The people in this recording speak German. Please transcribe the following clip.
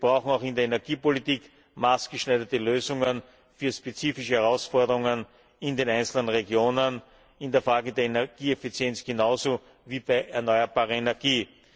Wir brauchen auch in der Energiepolitik maßgeschneiderte Lösungen für spezifische Herausforderungen in den einzelnen Regionen, in der Frage der Energieeffizienz genauso wie bei erneuerbarer Energie.